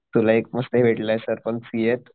तुला एक मस्त भेटलोय सर पण सीए त